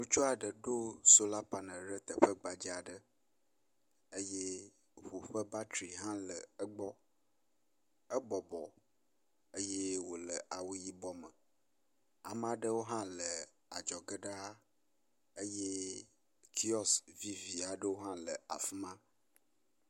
ŋutsua ɖè ɖó sola panel ɖe teƒe gbadzaaɖe eye ʋu ƒe batri hã le egbɔ , ébɔbɔ eye wòle awu yibɔ me ameaɖewo hã le adzɔge ɖaa eye kiɔs viviaɖewo hã le afima